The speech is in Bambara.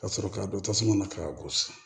Ka sɔrɔ k'a don tasuma na k'a gosi